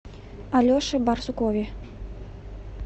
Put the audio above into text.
алеше барсукове